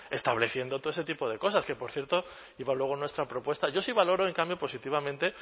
estableciendo todo ese tipo de cosas que por cierto iba luego nuestra propuesta yo sí valoro en cambio positivamente